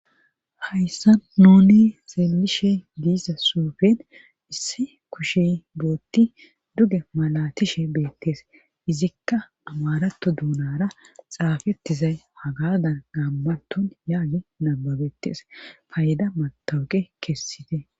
Hayssa nune xeelishe diisa suufen isse kushe bootti duge malatishe beettees izikka amarato duunara xaafettizay hagadan gaammanton yaagi nababetees payda matawuge kessite